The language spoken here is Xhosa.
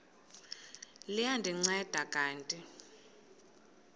liya ndinceda kanti